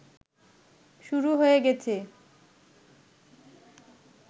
শুরু হয়ে গেছে